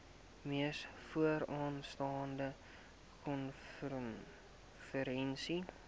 mees vooraanstaande konferensie